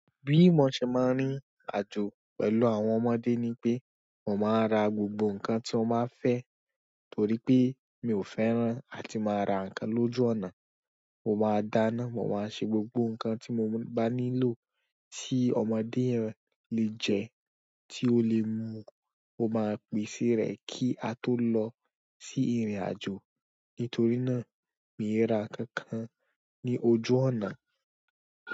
Bí mo ṣe máa ń rìn ìrìnàjò pẹ̀lú àwọn ọmọdé ni pé, mo máa ra gbogbo nǹkan tí wọ́n máa fẹ́ torí pé mi ò fẹ́ràn láti máa ra nǹkan lójú ọ̀nà. Mo máa dáná, mo máa ṣe gbogbo nǹkan tí mo bá nílò tí ọmọdé yẹn lè jẹ, tí ó le mu. Mo máa pèsè re kí á tó lọ sí ìrìn-àjò. Nítorí náà, mi ò rà kankan ní ojú ọ̀nà.